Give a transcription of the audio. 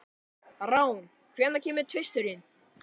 Rán, hvenær kemur tvisturinn?